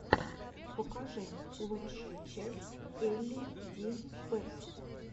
покажи лучшую часть элли ди пэтс